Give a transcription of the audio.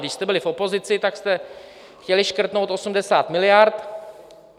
Když jste byli v opozici, tak jste chtěli škrtnout 80 miliard.